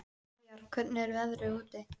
Veigar, hvernig er veðrið úti?